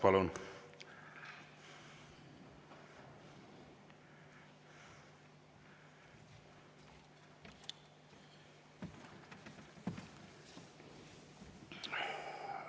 Palun!